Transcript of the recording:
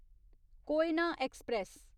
Koyna express